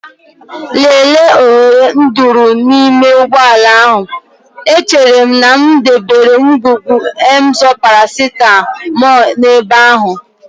Lelee oghere nduru n'ime ụgbọ ala ahụ, echere m na m debere ngwugwu Emzor paracetamol n'ebe ahụ.